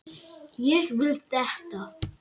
Ég vil þetta.